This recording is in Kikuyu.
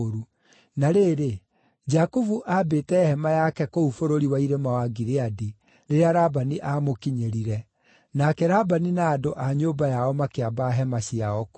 Na rĩrĩ, Jakubu aambĩte hema yake kũu bũrũri wa irĩma wa Gileadi rĩrĩa Labani aamũkinyĩrire, nake Labani na andũ a nyũmba yao makĩamba hema ciao kuo.